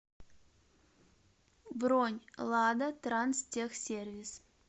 бронь лада транстехсервис